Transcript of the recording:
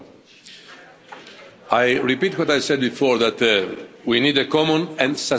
I repeat what I said before, that we need a common and sustainable solution.